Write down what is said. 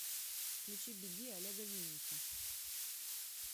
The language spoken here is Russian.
включи беги олега винника